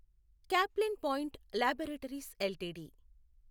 Caplin Point Laboratories LTD